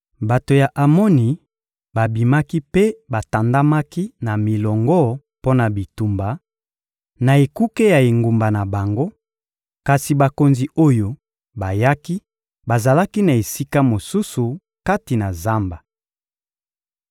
Bato ya Amoni babimaki mpe batandamaki na milongo mpo na bitumba, na ekuke ya engumba na bango; kasi bakonzi oyo bayaki bazalaki na esika mosusu, kati na zamba.